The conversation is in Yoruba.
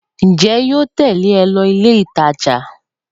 Ǹjẹ́ yóò tèlé o lọ ilé ìtajà?